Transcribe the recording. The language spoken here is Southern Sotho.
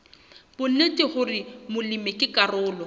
bonnete hore molemi ke karolo